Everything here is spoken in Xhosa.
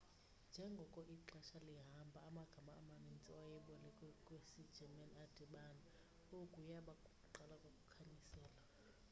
njengoko ixesha lihamba amagama amanintsi awayebolekwe kwisi german adibana oku yaba kukuqala kokukhanyiselwa